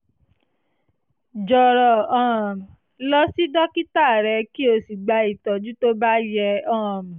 jọ̀rọ̀ um lọ sí dókítà rẹ kí o sì gba ìtọ́jú tó bá yẹ um